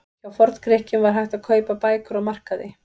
Hjá Forngrikkjum var hægt að kaupa bækur á markaði.